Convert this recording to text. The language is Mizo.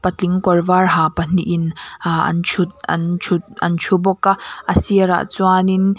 patling kawr var ha pahnihin aa an thut an thut an thu bawk a a sirah chuanin--